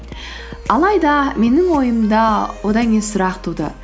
алайда менің ойымда одан кейін сұрақ туды